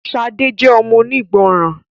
Shade jé ọmọ onígbọràn